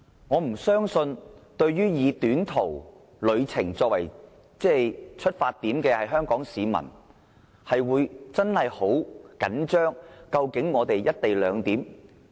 我不相信作短途旅程的香港市民，會緊張到非要"一地兩檢"不可。